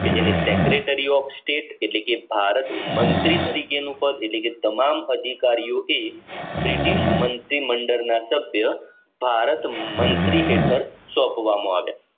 કે જેને Secretary of state એટલે કે ભારત મંત્રી તરીકેનું પદ એટલે કે તમામ અધિકારીઓ થી બ્રિટિશ મંત્રી મંડળના સભ્ય ભારત મંત્રી હેઠળ સોંપવામાં આવ્યા